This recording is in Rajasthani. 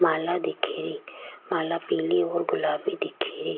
माला दिखेरी माला पिली और गुलाबी दिखेरी।